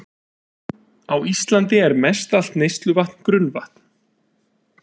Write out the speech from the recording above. Á Íslandi er mestallt neysluvatn grunnvatn.